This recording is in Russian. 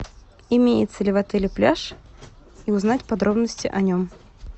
имеется ли в отеле пляж и узнать подробности о нем